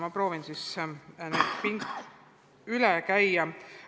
Ma proovin need üle käia.